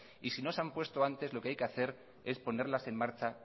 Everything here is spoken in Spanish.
y si no se ha puesto antes lo que hay que hacer es ponerlas en marcha